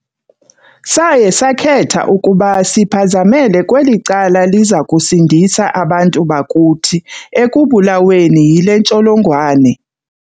Saye sakhetha ukuba siphazamele kweli cala liza kusindisa abantu bakuthi ekubulaweni yile ntsholongwane.